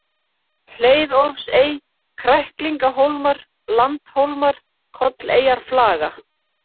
Hleiðólfsey, Kræklingahólmar, Landhólmar, Kolleyjarflaga